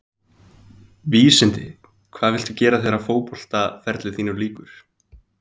Vísindi Hvað viltu gera þegar að fótboltaferli þínum lýkur?